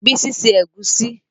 Bísí se Ẹ̀gúsí